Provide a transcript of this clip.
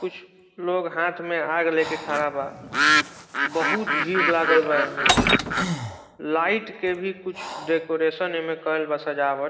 कुछ लोग हाथ में आग लेके खाडा बा | बहुत भीड़ लागल बा ऐमे | लाइट के भी कुछ डेकोरेशन ऐमे कइल बा सजावट |